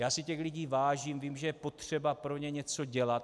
Já si těch lidí vážím, vím, že je potřeba pro ně něco dělat.